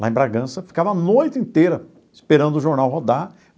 Lá em Bragança, ficava a noite inteira esperando o jornal rodar.